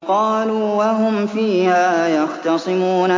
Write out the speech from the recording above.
قَالُوا وَهُمْ فِيهَا يَخْتَصِمُونَ